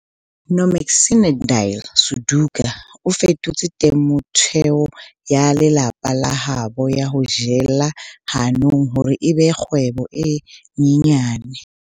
Nomagcinandile Suduka o fetotse temothuo ya lelapa la habo ya ho jela hanong hore e be kgwebo e nyenyane.